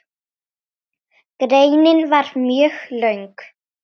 Greinin var mjög löng.